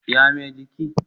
ya Mai jiki?